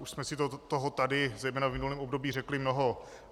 Už jsme si toho tady zejména v minulém období řekli mnoho.